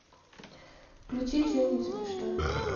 включи че нибудь смешное